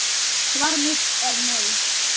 Svar mitt er nei.